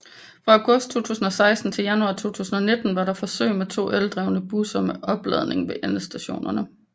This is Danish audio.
Fra august 2016 til januar 2019 var der forsøg med to eldrevne busser med opladning ved endestationerne